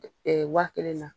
waa kelen na.